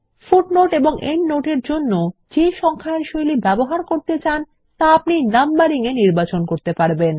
footnotes এবং endnotes এর জন্য যে সংখ্যায়ন শৈলী ব্যবহার করতে চান তা আপনি Numbering এ নির্বাচন করতে পারবেন